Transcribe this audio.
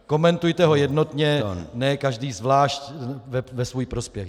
Komentujte ho jednotně, ne každý zvlášť ve svůj prospěch.